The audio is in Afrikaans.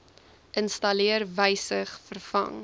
installeer wysig vervang